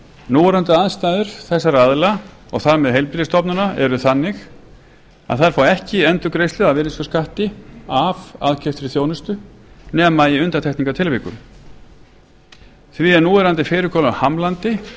núverandi aðstæður þessara aðila og þar með heilbrigðisstofnana eru þannig að þær fá ekki endurgreiðslu af virðisaukaskatti af aðkeyptri þjónustu nema í undantekningartilvikum því er núverandi fyrirkomulag hamlandi